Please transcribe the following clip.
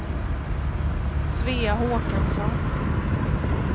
Svea Håkansson